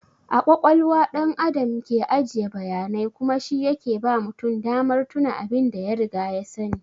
A ƙwaƙwalwa ɗan Adam ke ajiye bayanai kuma shi yake ba mutum damar tuna abin da ya riga ya sani.